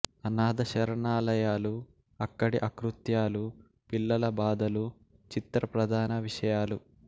అనాథ శరణాలయాలు అక్కడి అకృత్యాలు పిల్లల బాధలు చిత్ర ప్రధాన విషయాలు